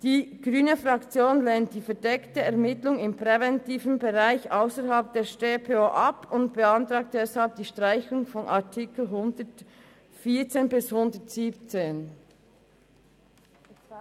Die grüne Fraktion lehnt die verdeckte Ermittlung im präventiven Bereich ausserhalb der StPO ab und beantragt deshalb die Streichung der Artikel 114 bis 117.